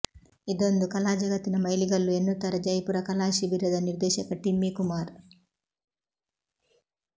ಇದೊಂದು ಕಲಾ ಜಗತ್ತಿನ ಮೈಲುಗಲ್ಲು ಎನ್ನುತ್ತಾರೆ ಜೈಪುರ ಕಲಾ ಶಿಬಿರದ ನಿರ್ದೇಶಕ ಟಿಮ್ಮಿ ಕುಮಾರ್